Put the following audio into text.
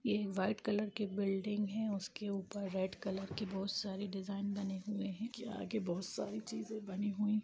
यह white colour की building है उसके ऊपर रेड कलर के बहुत सारे डिज़ाइन बने हुए हैं के आगे बहुत सारी चीज़ें बनी हुई --